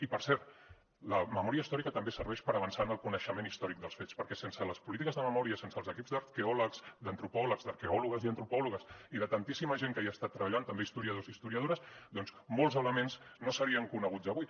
i per cert la memòria històrica també serveix per avançar en el coneixement històric dels fets perquè sense les polítiques de memòria sense els equips d’arqueòlegs d’antropòlegs d’arqueòlogues i antropòlogues i de tantíssima gent que hi ha estat treballant també historiadors i historiadores doncs molts elements no serien coneguts avui